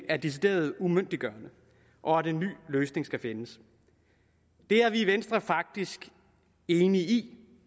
er decideret umyndiggørende og at en ny løsning skal findes det er vi i venstre faktisk enige i